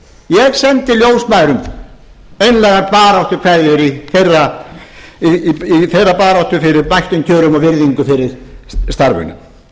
ég sendi ljósmæðrum einlægar baráttukveðjur í þeirra baráttu fyrir bættum kjörum og virðingu fyrir starfinu